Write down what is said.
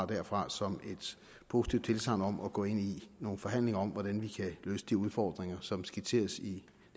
derfra som et positivt tilsagn om at gå ind i nogle forhandlinger om hvordan vi kan løse de udfordringer som skitseres i